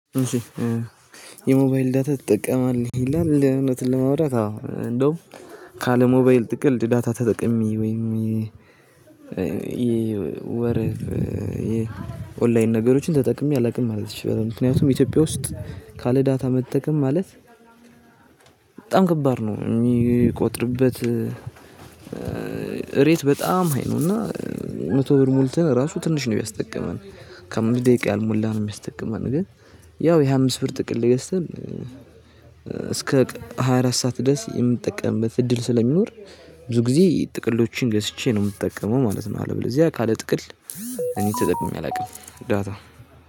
እሺ የሞባይል ዳታ ትጠቀማለህ? ይላል እውነቱን ለማውራት አዎ እንደውም ካለ ሞባይል ጥቅል ዳታ ተጠቅሜ ወይም የወር የኦንላይን ነገሮችን ተጠቅሜ አላውቅም ማለት እችላለሁ። ምክንያቱም ኢትዮጵያ ውስጥ ካለ ዳታ መጠቀም ማለት በጣም ከባድ ነው የሚቆጥርበት ሬት በጣም ሃይ ነው እና መቶ ብር ሞልተን እራሱ ትንሽ ነው የሚያስጠቅመን ከአምስት ደቂቃ ያልሞላ ነው የሚያስጠቅመን ግን ያው የሃያ አምስት ብር ጥቅል ገዝተን እስከ ሃያ አራት ሰዓት ድረስ የምጠቀምበት እድል ስለሚኖር ብዙ ጊዜ ጥቅሎችን ገዝቼ ነው የምጠቀመው ማለት ነው አለበለዚያ ካለ ጥቅል እኔ ተጠቅሜ አላውቅም ዳታ።